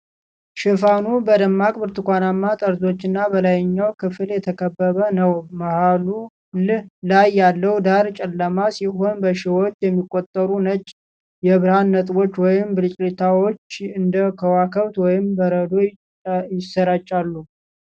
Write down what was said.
ሽፋኑ በደማቅ ብርቱካንማ ጠርዞችና በላይኛው ክፍል የተከበበ ነው። መሃል ላይ ያለው ዳራ ጨለማ ሲሆን፣ በሺዎች የሚቆጠሩ ነጭ የብርሃን ነጥቦች ወይም ብልጭታዎች እንደ ከዋክብት ወይም በረዶ ይሰራጫሉ።